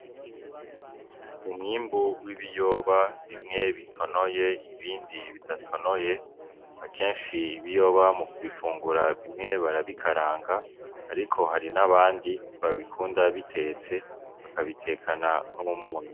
Umwimbu w'ibiyoba bimwe bitonoye ibindi bidatonoye, akenshi ibiyoba mu kubifungura bimwe barabikaranga ariko hari n'abandi babikunda bitetse bakabitekana n'umunyu.